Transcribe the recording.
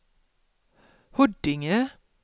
Huddinge